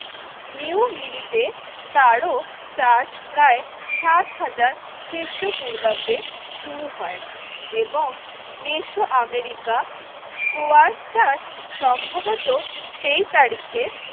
New Guinea তে তার ও চাষ প্রায় সাত হাজার খ্রিস্টপূর্বাব্দে শুরু হয় এবং মেসো আমেরিকা স্কয়ার চাষ সম্ভবত সেই তারিখে